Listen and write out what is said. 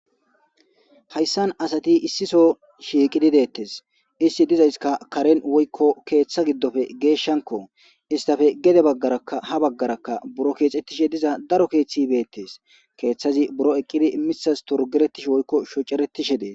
hayssan asati issiso shiiqidi deettes isti dizayska karen woykko keeththa giddofe geeshshanko istafe gede baggarakaha baggaraka buro keexettishe diza daro keeththi beettes keeththazi buro eqqidi misas torgeretish woykko shoceretishe dees